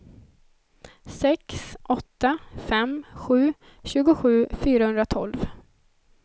sex åtta fem sju tjugosju fyrahundratolv